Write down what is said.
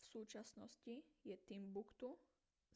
v súčasnosti je timbuktu